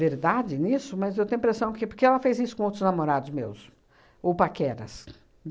verdade nisso, mas eu tenho a impressão que porque ela fez isso com outros namorados meus, ou paqueras.